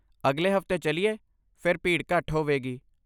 ਅਗਲੇ ਹਫਤੇ ਚੱਲੀਏ, ਫਿਰ ਭੀੜ ਘੱਟ ਹੋਵੇਗੀ।